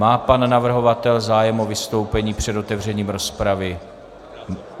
Má pan navrhovatel zájem o vystoupení před otevřením rozpravy?